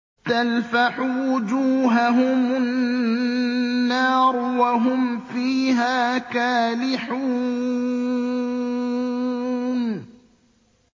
تَلْفَحُ وُجُوهَهُمُ النَّارُ وَهُمْ فِيهَا كَالِحُونَ